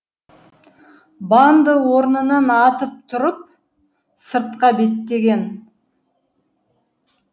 банды орнынан атып тұрып сыртқа беттеген